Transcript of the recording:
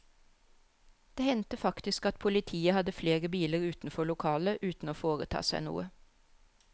Det hendte faktisk at politiet hadde flere biler utenfor lokalet uten å foreta seg noe.